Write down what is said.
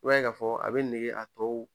I b'a ye k'a fɔ a bɛ nege a tɔw